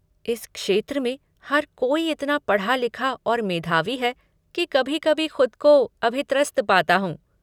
इस क्षेत्र में हर कोई इतना पढ़ा लिखा और मेधावी है कि कभी कभी ख़ुद को अभित्रस्त पाता हूँ।